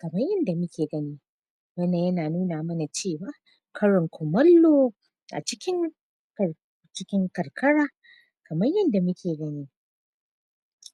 kaman yanda muke gani wannan yana nuna mana cewa karin kumallo a cikin kai cikin karkara kaman yanda muke gani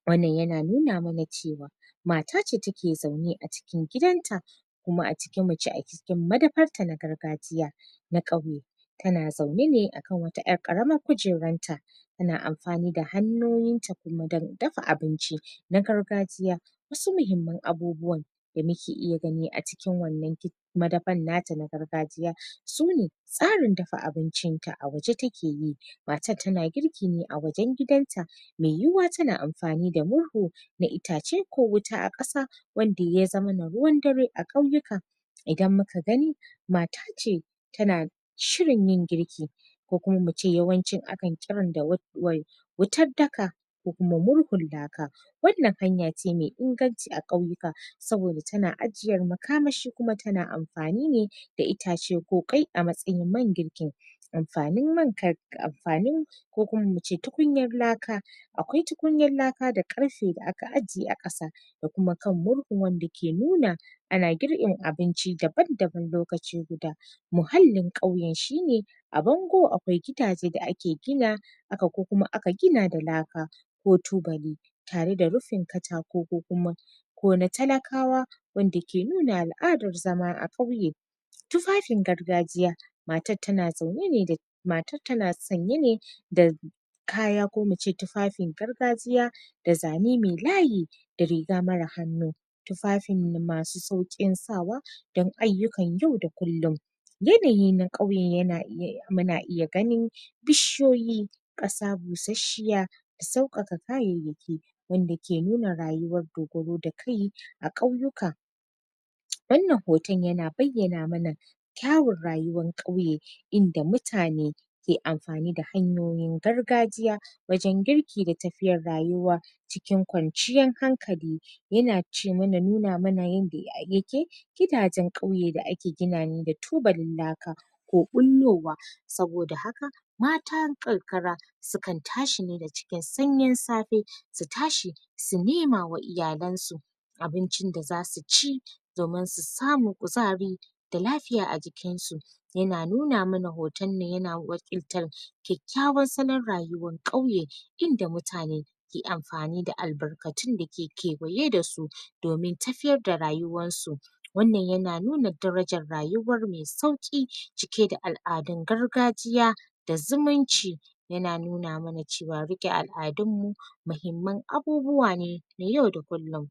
wannan yana nuna mana cewa mata ne take zaune a cikin gidanta kuma muce a cikin madafarta na gargajiya na ƙauye tana zaune ne akan wata ƴar ƙaramar kujeranta tana amfani da hannoyinta kuma don dafa abinci na gargajiya wasu muhimman abubuwan da muke iya gani a cikin wannan madafar nata na gargajiya su ne tsarin dafa abincin ta a waje take yi matar tana girki ne a wajen gidanta mai yiwuwa tana amfani da murhu na itace ko wuta a ƙasa wanda ya zamana ruwan dare a ƙauyuka idan muka gani mata ce tana shirin yin girki ko kuma mu ce yawanci akan kiran da wai wutar daka ko kuma murhun laka wannan hanya ce mai inganci a ƙauyuka saboda tana ajiyar makamashi kuma tana amfani ne da itace ko ƙwai a matsayin man girkin amfanin man kar amfanin ko kuma muce tukunyar laka akwai tukunyar laka da ƙarfe da aka ajiye a ƙasa da kuma kan murhun wanda ke nuna ana girkin abinci daban daban lokaci guda muhallin ƙauyen shine a bango akwai gidaje da ake gina aka ko kuma aka gina da laka ko tubali tare da rufin katako ko kuma ko na talakawa wanda ke nuna al'adar zama a ƙauye tufafin gargajiya matar tana zaune ne da matar tana sanye ne da kaya ko muce tufafin gargajiya da zane mai layi da riga mara hannu tufafin masu sauƙin sawa don ayyukan yau da kullun yanayi na ƙauye yana iya muna iya ganin bishiyoyi ƙasa busasshiya sauƙaƙa kayayyaki wanda ke nuna rayuwar dogaro da kai a ƙauyuka wannan hoton yana bayyana mana kyawun rayuwan ƙauye inda mutane ke amfani da hanyoyin gargajiya wajen girki da tafiyar rayuwa cikin kwanciyan hankali yana ce mana nuna mana yanda yake gidajen ƙauye da ake gina ne da tubalin laka ko ɓullowa saboda haka matan ƙarkara su kan tashi ne da cikin sanyin safe su tashi su nema wa iyalan su abincin da zasu ci domin su samu kuzari da lafiya a jikinsu yana nuna mana hoton nan yana wakiltar kyakkyawan salon rayuwan ƙauye inda mutane ke amfani da albarkatun da ke kewaye dasu domin tafiyar da rayuwarsu wannan yana nuna darajar rayuwar mai sauƙi cike da al'adun gargajiya da zumunci yana nuna mana cewa riƙe al'adun mu mahimman abubuwa ne na yau da kullun